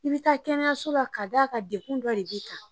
I bɛ taa kɛnɛyaso la ka d'a kan degun dɔ de b'i kan.